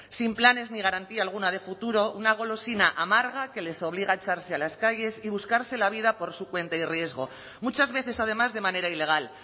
sin planes ni garantía alguna de futuro una golosina amarga que les obliga a echarse a las calles y buscarse la vida por su cuenta y riesgo muchas veces además de manera ilegal